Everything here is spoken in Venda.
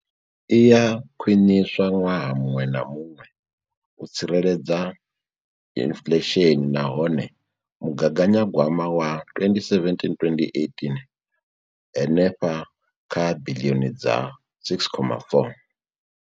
Iya khwiniswa ṅwaha muṅwe na muṅwe u tsireledza inflesheni nahone mugaganya gwama wa 2017,2018 u henefha kha biḽioni dza R6.4.